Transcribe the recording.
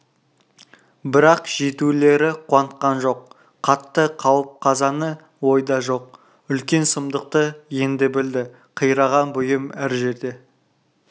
бірақ жетулері қуантқан жоқ қатты қауіп-қазаны ойда жоқ үлкен сұмдықты енді білді қираған бұйым әр жерде